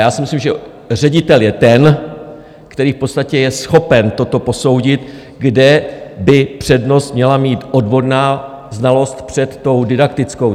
Já si myslím, že ředitel je ten, který v podstatě je schopen toto posoudit, kde by přednost měla mít odborná znalost před tou didaktickou.